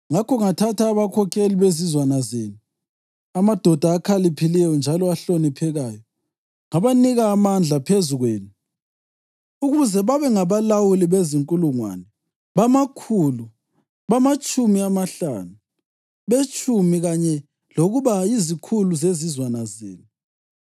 Ngakho ngathatha abakhokheli bezizwana zenu, amadoda akhaliphileyo njalo ahloniphekayo, ngabanika amandla phezu kwenu ukuze babe ngabalawuli bezinkulungwane, bamakhulu, bamatshumi amahlanu, betshumi kanye lokuba yizikhulu zezizwana zenu.